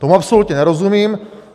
Tomu absolutně nerozumím.